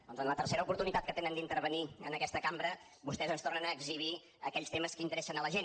doncs en la tercera oportunitat que tenen d’intervenir en aquesta cambra vostès ens tornen a exhibir aquells temes que interessen a la gent